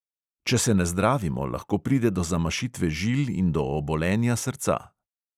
Če se ne zdravimo, lahko pride do zamašitve žil in do obolenja srca.